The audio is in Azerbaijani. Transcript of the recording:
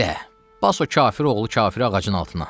Belə, bas o kafir oğlu kafiri ağacın altına.